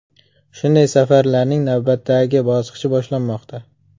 Shunday safarlarning navbatdagi bosqichi boshlanmoqda.